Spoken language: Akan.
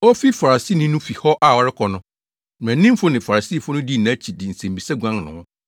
Ofi Farisini no fi hɔ a ɔrekɔ no, mmaranimfo ne Farisifo no dii nʼakyi de nsɛmmisa guan ne ho,